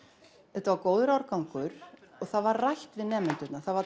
þetta var góður árgangur og það var rætt við nemendurna það var